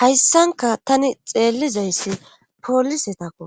Hayssanka tani xeellizayssi poolisetakko